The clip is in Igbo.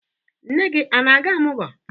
Nne gị a na-aga ọmụgwọ?